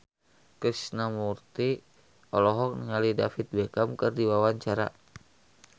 Krishna Mukti olohok ningali David Beckham keur diwawancara